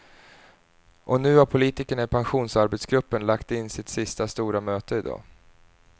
Och nu har politikerna i pensionsarbetsgruppen lagt in sitt sista stora möte i dag.